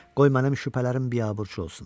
Qoy mənim şübhələrim biabırçı olsun.